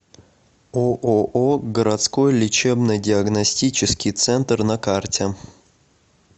ооо городской лечебно диагностический центр на карте